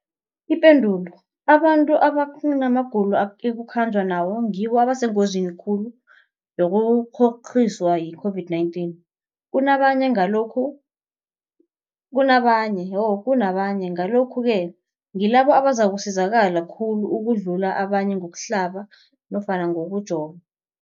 Ipendulo, abantu abanamagulo ekukhanjwa nawo ngibo abasengozini khulu yokukghokghiswa yi-COVID-19 kunabanye, Ngalokhu-ke ngibo abazakusizakala khulu ukudlula abanye ngokuhlaba nofana ngokujova.